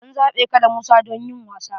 An zaɓe ka da Musa don yin wasan.